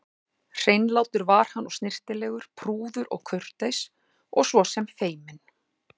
Hreinlátur var hann og snyrtilegur, prúður og kurteis og svo sem feiminn.